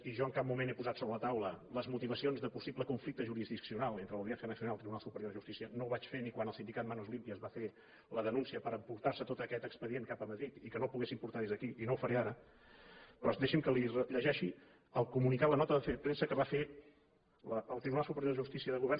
i jo en cap moment he posat sobre la taula les motivacions de possible conflicte jurisdiccional entre l’audiència nacional i el tribunal superior de justícia no ho vaig fer ni quan el sindicat manos limpias va fer la denúncia per haver se emportat tot aquest expedient cap a madrid i que no el poguessin portar des d’aquí i no ho faré ara però deixi’m que li llegeixi el comunicat la nota de premsa que va fer el tribunal superior de justícia de govern